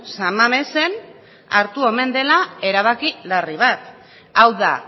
san mamesen hartu omen dela erabaki larri bat hau da